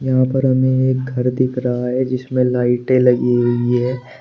यहां पर हमें एक घर दिख रहा है जिसमें लाइटें लगी हुई है।